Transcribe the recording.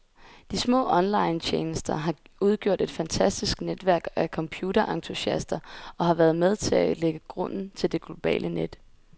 De små onlinetjenester har udgjort et fantastisk netværk af computerentusiaster, og har været med til at lægge grunden til det globale net.